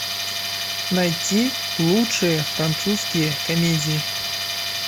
найти лучшие французские комедии